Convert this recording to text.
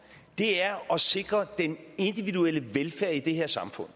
er at sikre den individuelle velfærd i det her samfund